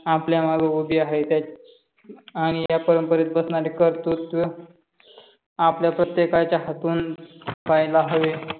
आपल्या माग उभी आहे आणि या परंपरेत बसणारे कर्तुत्व आपल्या प्रत्येकाच्या हातून पाहायला हवे.